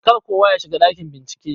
Kar kowa yashiga ɗakin bincike.